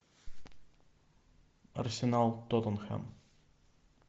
арсенал тоттенхэм